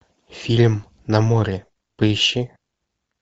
фильм на море поищи